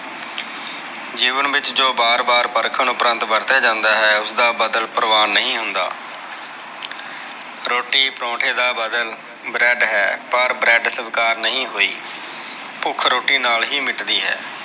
ਜੀਵਨ ਵਿਚ ਜੋ ਵਾਰ ਵਾਰ ਪਰਖਣ ਉਪਰੰਤ ਵਰਤਿਆ ਜਾਂਦਾ ਹੈ ਓਸਦਾ ਬਦਲ ਪਰਵਾਨ ਨਹੀ ਹੁੰਦਾ ਰੋਟੀ ਪਾਰੋਠੇ ਦਾ ਬਦਲ ਬ੍ਰੇਡ ਹੈ ਪਰ ਬ੍ਰੇਡ ਸਵੀਕਾਰ ਨਹੀ ਹੋਈ ਭੁਖ ਰੋਟੀ ਨਾਲ ਹੀ ਮਿਟਦੀ ਹੈ